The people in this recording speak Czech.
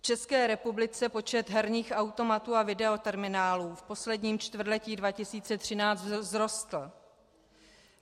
V České republice počet herních automatů a videoterminálů v posledním čtvrtletí 2013 vzrostl.